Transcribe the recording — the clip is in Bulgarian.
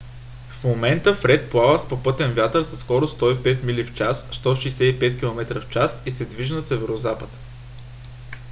в момента фред плава с попътен вятър със скорост 105 мили в час 165 км/ч и се движи на северозапад